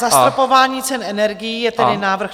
Zastropování cen energií je tedy návrh.